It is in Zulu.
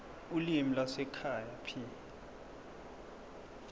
ulimi lwasekhaya p